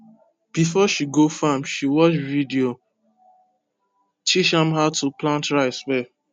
before she go farm she watch video teach am how to plant rice well